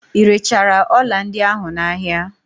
Irechara ọla ndị ahụ n'ahia?